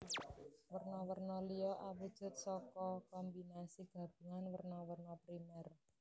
Werna werna liya awujud saka kombinasi gabungan werna werna primer